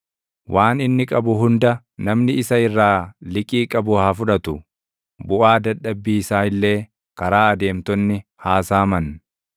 Waan inni qabu hunda namni isa irraa liqii qabu haa fudhatu; buʼaa dadhabbii isaa illee karaa adeemtonni haa saaman.